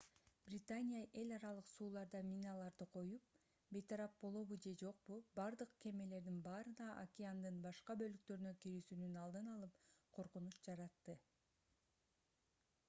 британия эл аралык сууларда миналарды коюп бейтарап болобу же жокпу бардык кемелердин баарына океандын башка бөлүктөрүнө кирүүсүнүн алдын алып коркунуч жаратты